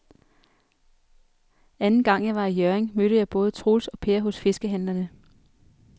Anden gang jeg var i Hjørring, mødte jeg både Troels og Per hos fiskehandlerne.